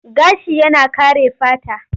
Gashi yana kare fata.